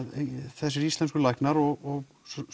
þessir íslensku læknar og